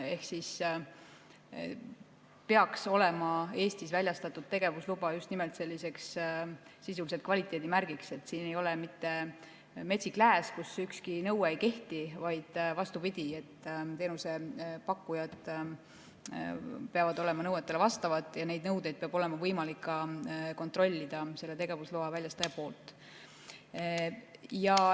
Ehk Eestis väljastatud tegevusluba peaks olema just nimelt sisuliselt kvaliteedimärgiks, et siin ei ole mitte metsik lääs, kus ükski nõue ei kehti, vaid vastupidi, teenusepakkujad peavad nõuetele vastama ja neid nõudeid peab olema võimalik tegevusloa väljastajal ka kontrollida.